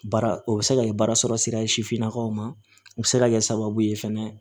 Baara o bɛ se ka kɛ baara sɔrɔ sira ye sifinnakaw ma o bɛ se ka kɛ sababu ye fɛnɛ